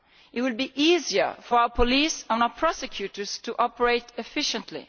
It will be easier for our police and our prosecutors to operate efficiently.